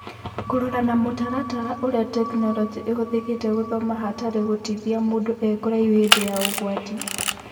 Kũrora na mũtaratara ũrĩa Tekinoronjĩ ĩhũthĩkĩte gũthoma hatarĩ gũtithia mũndũ e kũraihu hĩndĩ ya ũgwati